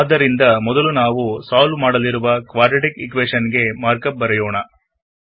ಆದ್ದರಿಂದ ಮೊದಲು ಸಾಲ್ವ್ ಮಾಡಲು ಕ್ವಾಡ್ರಾಟಿಕ್ ಈಕ್ವೇಶನ್ ಗೆ ಮಾರ್ಕಪ್ ಮಾಡೋಣ